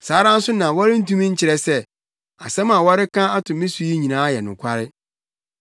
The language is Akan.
Saa ara nso na wɔrentumi nkyerɛ sɛ, nsɛm a wɔreka ato me so yi nyinaa yɛ nokware.